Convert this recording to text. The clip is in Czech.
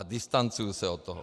A distancuju se od toho.